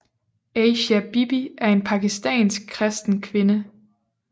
Asia Bibi er en pakistansk kristen kvinde